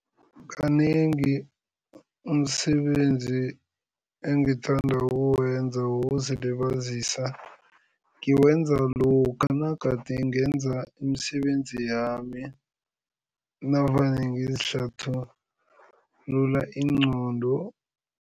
Kanengi umsebenzi engithanda ukuwenza wokuzilibazisa ngiwenza lokha nagade ngenza imisebenzi yami navane ngizihlathulula ingqondo.